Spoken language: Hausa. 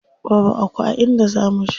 Babu Aku a inda za muje.